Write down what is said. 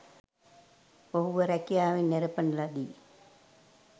ඔහුව රැකියාවෙන් නෙරපන ලදී